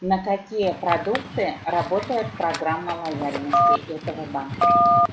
на какие продукты работает программа лояльности этого банка